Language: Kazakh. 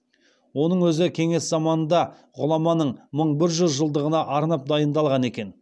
оның өзі кеңес заманында ғұламаның мың бір жүз жылдығына арнап дайындалған екен